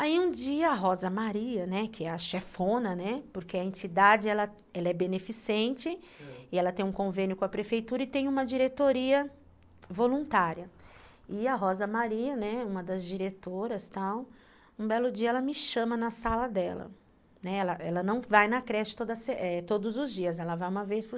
E aí um dia Rosa Maria, né, que a chefona, né, porque a entidade ela ela é beneficente, ãh, e ela tem um convênio com a prefeitura, e tem uma diretoria voluntária. E a Rosa Maria, né, uma das diretoras, tal, um belo dia ela me chama na sala dela, né, ela ela não vai na creche toda todos os dias, ela vai uma vez por se